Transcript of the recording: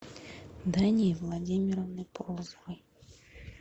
дании владимировны полозовой